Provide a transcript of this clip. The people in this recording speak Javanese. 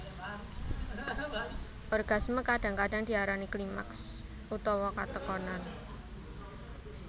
Orgasme kadang kadang diarani klimaks utawa katekonan